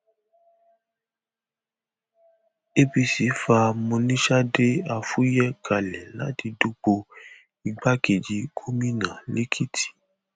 apc fa monisade afuye kalẹ láti dupò igbákejì gómìnà lẹkìtì